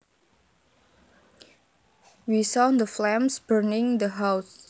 We saw the flames burning the house